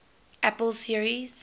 apple series